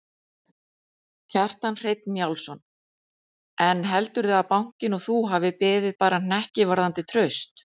Kjartan Hreinn Njálsson: En heldurðu að bankinn og þú hafi beðið bara hnekki varðandi traust?